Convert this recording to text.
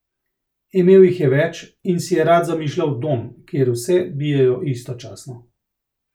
Imel jih je več in si je rad zamišljal dom, kjer vse bijejo istočasno.